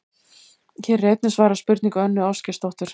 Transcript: Hér er einnig svarað spurningu Önnu Ásgeirsdóttur: